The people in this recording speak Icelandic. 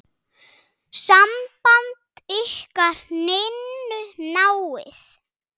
Samband ykkar Ninnu náið.